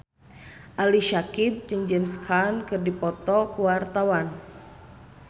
Ali Syakieb jeung James Caan keur dipoto ku wartawan